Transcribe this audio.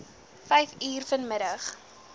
vyf uur vanmiddag